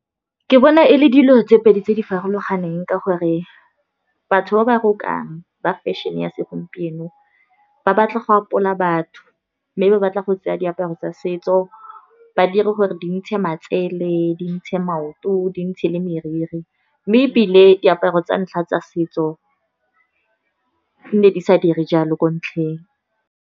Ke bona e le dilo tse pedi tse di farologaneng ka gore, batho ba ba rokang fashion-e ya segompieno, ba batla go apola batho, mme ba batla go tseya diaparo tsa setso ba dire gore di ntshe matsele, dintshe maoto, di ntshe le meriri, mme ebile diaparo tsa ntlha tsa setso, di nne di sa dire jalo ko ntlheng.